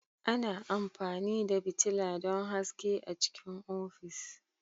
Ana amfani da fitila don haske a cikin ofis.